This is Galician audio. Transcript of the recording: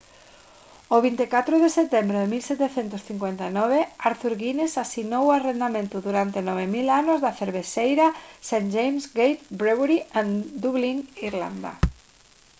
o 24 de setembro de 1759 arthur guinness asinou o arrendamento durante 9000 anos da cervexeira st james' gate brewery en dublín irlanda